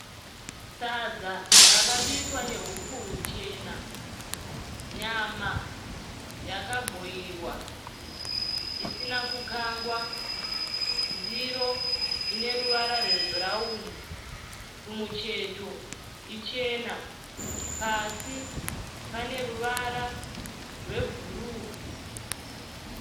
Sadza rakabikwa nehupfu huchena. Nyama yakabhoirwa isina kukangwa. Ndiro ine ruvara rwebhurauni kumucheto ichena. Pasi pane ruvara rwebhuru.